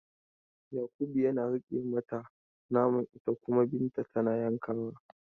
Yakubu yana riƙe mata naman ita kuma Binta tana yankawa.